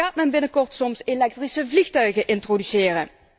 Gaat men binnenkort soms elektrische vliegtuigen introduceren?